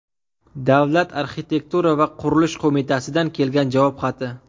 Davlat arxitektura va qurilish qo‘mitasidan kelgan javob xati.